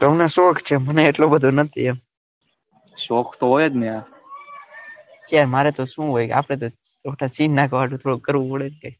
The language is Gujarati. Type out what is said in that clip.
તમને શોખ છે મને એટલો બધો નથી એમ શોખ તો હોય જ ને એમ ક્યાં મારે તો સુ હોય આપડે તો ન હાટુ થોડું કરવું પડે